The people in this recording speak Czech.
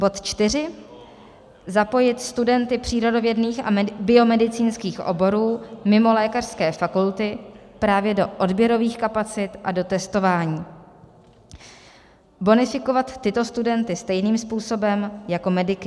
Bod čtyři - zapojit studenty přírodovědných a biomedicínských oborů mimo lékařské fakulty právě do odběrových kapacit a do testování, bonifikovat tyto studenty stejným způsobem jako mediky.